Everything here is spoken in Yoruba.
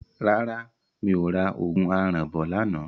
Rárá mi ò ra òògùn aràn bọ̀ lánàá.